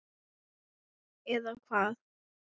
Eða hvað?